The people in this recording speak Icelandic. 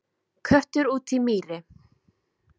Köttur út í mýri